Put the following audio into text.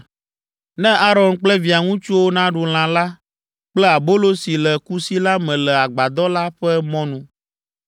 Na Aron kple via ŋutsuwo naɖu lã la kple abolo si le kusi la me le agbadɔ la ƒe mɔnu.